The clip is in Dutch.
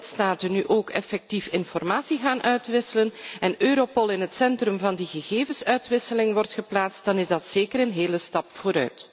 Als alle lidstaten nu ook effectief informatie gaan uitwisselen en Europol in het centrum van die gegevensuitwisseling wordt geplaatst, dan is dat zeker een hele stap vooruit.